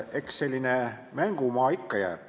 Eks selline mängumaa ikka jääb.